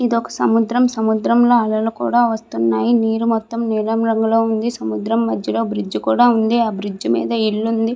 ఇది ఒక సముద్రం సముద్రంలో అలలు కూడా వస్తున్నాయి. నీరు మొత్తం నీలం రంగులో ఉంది. సముద్రం మధ్యలో బ్రిడ్జ్ ఉంది. ఆ బ్రిడ్జ్ మీద ఇల్లు ఉంది.